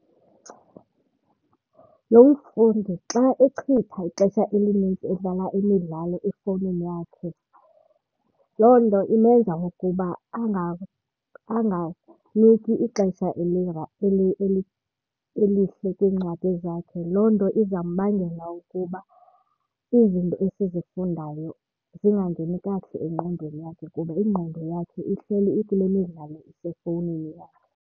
Lo mfundi xa echitha ixesha elinintsi edlala imidlalo efowunini yakhe loo nto imenza ukuba anganiki ixesha elihle kwiincwadi zakhe. Loo nto izambangela ukuba izinto esizifundayo zingangeni kakuhle engqondweni yakhe kuba ingqondo yakhe ihleli ikule midlalo isefowunini yakhe.